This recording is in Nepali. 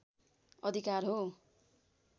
अधिकार हो